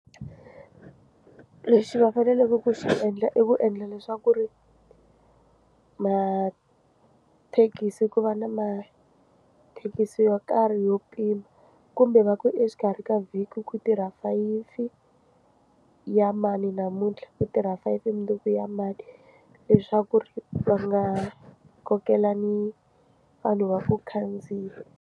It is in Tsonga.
Lexi va faneleke ku xi endla i ku endla leswaku ri mathekisi ku va na mathekisi yo karhi yo pima kumbe va ku exikarhi ka vhiki ku tirha fayifi ya mani namuntlha ku tirha five mundzuku ya mani leswaku ri va nga kokelani vanhu va ku khandziya.